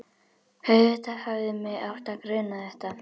Auðvitað hefði mig átt að gruna þetta.